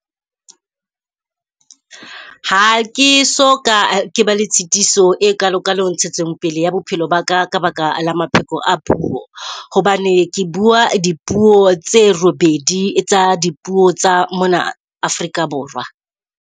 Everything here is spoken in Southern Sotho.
Ha ke so ka ke ba le tshetiso e kalo kalo ntshetsopele ya bophelo ba ka ka baka la mapheko a puo. Hobane ke bua di puo tse robedi tsa di puo tsa mona Afrika Borwa.